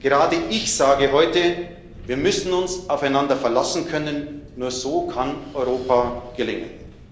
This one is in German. Gerade ich sage heute Wir müssen uns aufeinander verlassen können, nur so kann Europa gelingen.